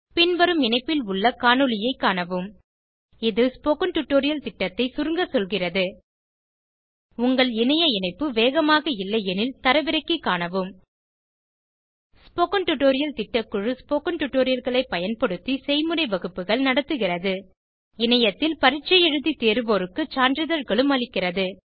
பின்வரும் இணைப்பில் உள்ள காணொளியைக் காணவும் இது ஸ்போகன் டுடோரியல் திட்டத்தை சுருங்க சொல்கிறது உங்கள் இணைய இணைப்பு வேகமாக இல்லையெனில் தரவிறக்கி காணவும் ஸ்போகன் டுடோரியல் திட்டக்குழு ஸ்போகன் டுடோரியல்களை பயன்படுத்தி செய்முறை வகுப்புகள் நடத்துகிறது இணையத்தில் பரீட்சை எழுதி தேர்வோருக்கு சான்றிதழ்களும் அளிக்கிறது